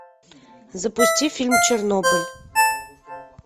запусти фильм чернобыль